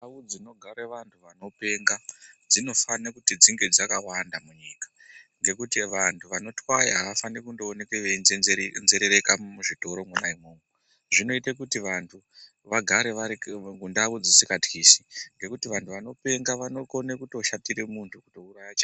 Ndau dzinogare vantu vanopenga dzinofane kuti dzinge dzakawanda munyika, ngekuti vantu vanotwaya havafani kundooneke veinzenze nzerereka muzvitoro mona imwomwo, zvinoite kuti vantu vagare vari mundau dzisinga tyisi ngekuti vantu vanopenga vanokone kutoshatire muntu kutouraya chaiko.